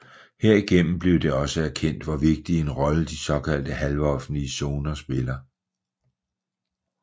Herigennem blev det også erkendt hvor vigtig en rolle de såkaldte halvoffentlige zoner spiller